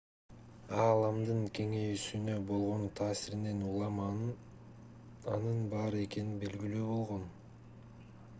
ааламдын кеңейүүсүнө болгон таасиринен улам анын бар экени белгилүү болгон